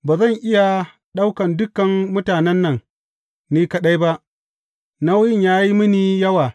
Ba zan iya ɗaukan dukan mutanen nan ni kaɗai ba, nauyin ya yi mini yawa.